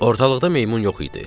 Ortalıqda meymun yox idi.